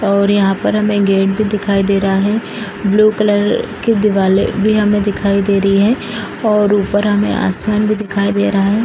और यहाँ पर हमें गेट भी दिखाई दे रहा है ब्लू कलर की दिवाले भी हमें दिखाई दे रही हैं और ऊपर हमें आसमान भी दिखाई दे रहा है।